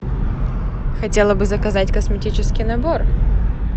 хотела бы заказать косметический набор